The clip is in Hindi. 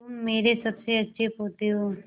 तुम मेरे सबसे अच्छे पोते हो